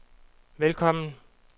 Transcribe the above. velkommen